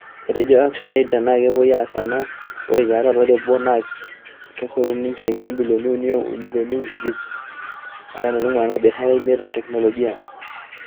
Etejo Action Aid tenaa kepoi aas ena, ore tiatua olari obo ake naa kesotuni injilingini ibilioni uni o milioni iip are aitungua nena biasharani imiet e teknoloji.